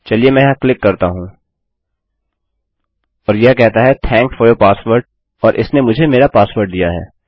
चलिए मैं यहाँ क्लिक करता हूँ और यह कहता है थैंक्स फोर यूर पासवर्ड और इसने मुझे मेरा पासवर्ड दिया है